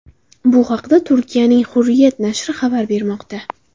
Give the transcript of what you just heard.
Bu haqda Turkiyaning Hurriyet nashri xabar bermoqda .